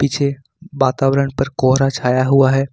पीछे वातावरण पर कोहरा छाया हुआ है।